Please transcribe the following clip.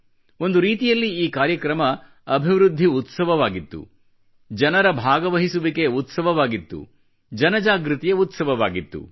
ಒಂದು ರೀತಿಯಲ್ಲಿ ಈ ಕಾರ್ಯಕ್ರಮವು ಅಭಿವೃದ್ಧಿ ಉತ್ಸವವಾಗಿತ್ತು ಜನರ ಭಾಗವಹಿಸುವಿಕೆಯ ಉತ್ಸವವಾಗಿತ್ತು ಜನ ಜಾಗೃತಿಯ ಉತ್ಸವವಾಗಿತ್ತು